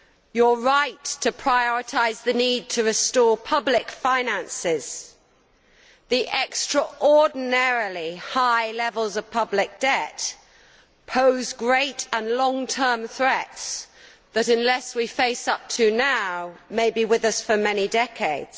You are right to prioritise the need to restore public finances the extraordinarily high levels of public debt pose great and long term threats that, unless we face up to them now, may be with us for many decades.